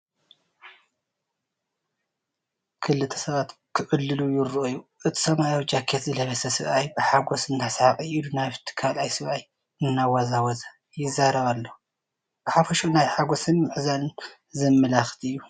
ክልተ ሰባት ክዕልሉ ይረኣዩ እቲ ሰማያዊ ጃኬት ዝለበሰ ሰብኣይ ብሓጎስ እናሰሓቐ ኢዱ ናብቲ ካልእ ሰብኣይ እናወዛወዘ፡ ይዛረብ ኣሎ። ብሓፈሽኡ ናይ ሓጎስን ምሕዝነትን ዘመላኽት እዩ።